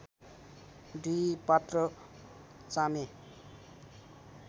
दुई पात्र चामे